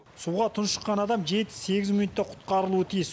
суға тұншыққан адам жеті сегіз минутта құтқарылуы тиіс